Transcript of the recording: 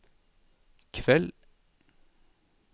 kveld